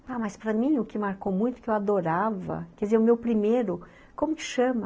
Ah, mas para mim, o que marcou muito, que eu adorava, quer dizer, o meu primeiro, como que chama?